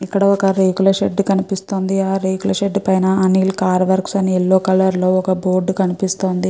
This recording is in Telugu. ఇక్కడ ఒక రేకుల షెడ్ కనిపిస్తుంది. ఆ రేకుల షెడ్ పైన అనిల్ కార్ వర్క్స్ అని యెల్లో కలర్ లో ఒక బోర్డు కనిపిస్తుంది.